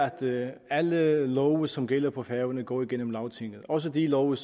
at alle love som gælder på færøerne går igennem lagtinget at også love